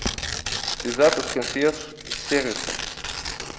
связаться с консьерж сервисом